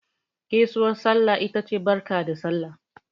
Gaisuwar sallah ita ce Barka da Sallah.